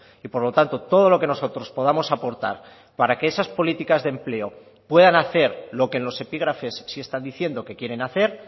y por lo tanto todo lo que nosotros podamos aportar para que esas políticas de empleo puedan hacer lo que en los epígrafes sí están diciendo que quieren hacer